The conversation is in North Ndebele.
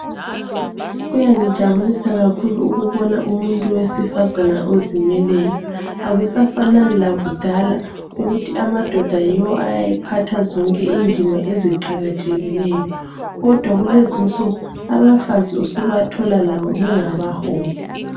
Kuyangijabulisa kakhulu ukubona umuntu wesifazana ozimeleyo. Akusafanani lakudala ukuthi amadoda yiwo ayayephatha zonke indima eziqakathekileyo kodwa kulezinsuku abafazi usubathola labo bengabaholi.